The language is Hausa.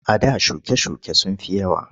A da shuke-shuke sun fi yawa.